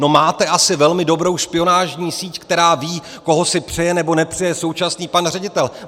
No, máte asi velmi dobrou špionážní síť, která ví, koho si přeje, nebo nepřeje současný pan ředitel.